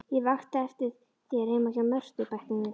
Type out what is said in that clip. Ég vakti eftir þér heima hjá Mörtu, bætti hún við.